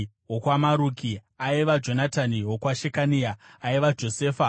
wokwaMaruki, aiva Jonatani; wokwaShekania, aiva Josefa;